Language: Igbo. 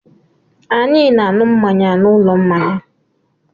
Anyị na-aṅụ mmanya n'ụlọ mmanya.